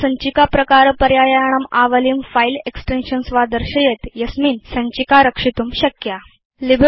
इदं भवन्तं सञ्चिकाप्रकारपर्यायाणाम् आवलिं फिले एक्सटेन्शन्स् वा दर्शयेत् यस्यान्त भवान् सञ्चिकां रक्षितुं शक्नोति